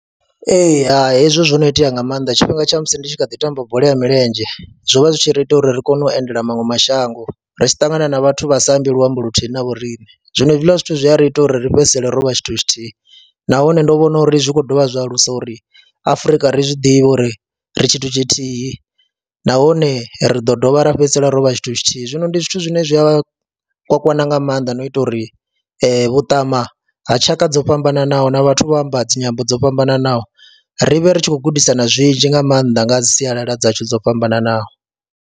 Ee, hai hezwo no itea nga maanḓa tshifhinga tsha musi ndi tshi kha ḓi tamba bola ya milenzhe zwo vha zwi tshi ri ita uri ri kone u endela maṅwe mashango, ri tshi ṱangana na vhathu vha sa ambi luambo luthihi na vho riṋe. Zwino hezwiḽa zwithu zwi a ri ita uri ri fhedzisele ro vha tshithu tshithihi nahone ndo vhona uri zwi kho dovha zwa alusa uri Afrika ri zwi ḓivhe uri ri tshithu tshithihi nahone ri ḓo dovha ra fhedzisela ro vha tshithu tshithihi, zwino ndi zwithu zwine zwi a kwakwana nga maanḓa no ita uri vhuṱama ha tshaka dzo fhambananaho na vhathu vha amba dzi nyambo dzo fhambananaho ri vhe ri tshi khou gudisana zwinzhi nga maanḓa nga ha sialala dzashu dzo fhambananaho.